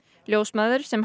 ljósmæður sem